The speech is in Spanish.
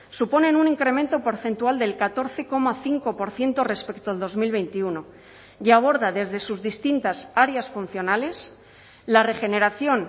suponen un incremento porcentual del catorce coma cinco por ciento respecto al dos mil veintiuno y aborda desde sus distintas áreas funcionales la regeneración